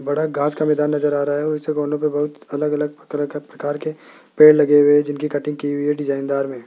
बड़ा घास का मैदान नजर आ रहा है उस बाउंड्री बहुत अलग-अलग तरह का प्रकार के पेड़ लगे हुए जिनकी कटिंग की हुई है डिजाइनदार में --